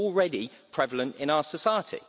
It was already prevalent in our society.